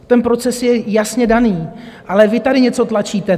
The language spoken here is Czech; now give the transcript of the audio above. Ten proces je jasně daný, ale vy tady něco tlačíte.